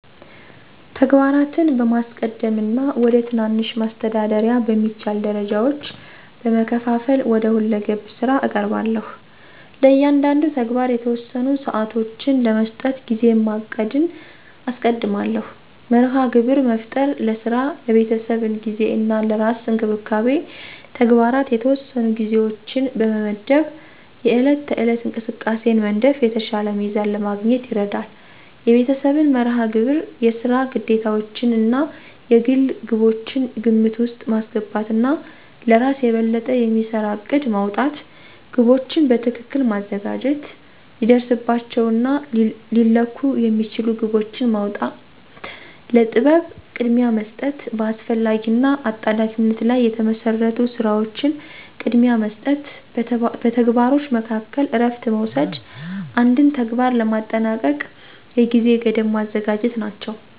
ተግባራትን በማስቀደም እና ወደ ትናንሽ፣ ማስተዳደር በሚቻል ደረጃዎች በመከፋፈል ወደ ሁለገብ ስራ እቀርባለሁ። ለእያንዳንዱ ተግባር የተወሰኑ ሰዓቶችን ለመስጠት ጊዜን ማቀድን አስቀድማለሁ። መርሃ ግብር መፍጠር፣ ለስራ፣ ለቤተሰብ ጊዜ እና ለራስ እንክብካቤ ተግባራት የተወሰኑ ጊዜዎችን በመመድብ የዕለት ተዕለት እንቅስቃሴን መንደፍ የተሻለ ሚዛን ለማግኘት ይረዳል። የቤተሰብን መርሃ ግብር፣ የስራ ግዴታዎችዎን እና የግል ግቦችን ግምት ውስጥ ማስገባት እና ለእራስ የበለጠ የሚሰራ እቅድ ማውጣት። ግቦችን በትክክል ማዘጋጀት፣ ሊደረስባቸው እና ሊለኩ የሚችሉ ግቦችን ማውጣ፣ ለጥበብ ቅድሚያ መስጠት፣ በአስፈላጊ እና አጣዳፊነት ላይ የተመሰረቱ ስራዎችን ቅድሚያ መስጠት፣ በተግባሮች መካከል እረፍት መውሰድ፣ አንድን ተግባር ለማጠናቀቅ የጊዜ ገደብ ማዘጋጀት ናቸው።